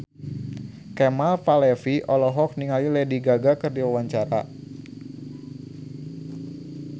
Kemal Palevi olohok ningali Lady Gaga keur diwawancara